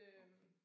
Okay